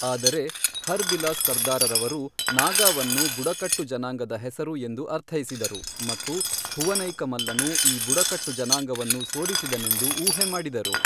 ಆದರೆ, ಹರ್ ಬಿಲಾಸ್ ಸರ್ದಾರವರು ನಾಗಾವನ್ನು ಬುಡಕಟ್ಟು ಜನಾಂಗದ ಹೆಸರು ಎಂದು ಅರ್ಥೈಸಿದರು, ಮತ್ತು ಭುವನೈಕಮಲ್ಲನು ಈ ಬುಡಕಟ್ಟು ಜನಾಂಗವನ್ನು ಸೋಲಿಸಿದನೆಂದು ಊಹೆ ಮಾಡಿದರು.